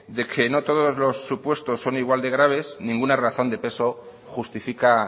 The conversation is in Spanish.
de que no todos los supuestos son igual de graves ninguna razón de peso justifica